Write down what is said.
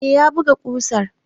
Eh, ya buga ƙusar.